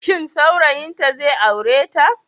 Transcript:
Shin saurayinta zai aure ta?